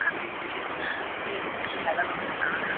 ওঠাতে এসেছে এই হ্যাঙ্গটি লাগানো হয় --